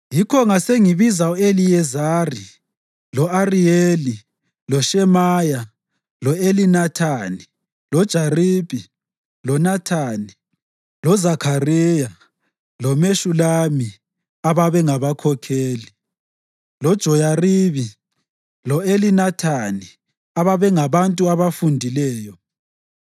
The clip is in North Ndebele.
Yikho ngasengibiza u-Eliyezari, lo-Ariyeli, loShemaya, lo-Elinathani, loJaribi, loNathani, loZakhariya loMeshulami ababengabakhokheli, loJoyaribi lo-Elinathani ababengabantu abafundileyo,